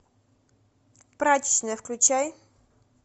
прачечная включай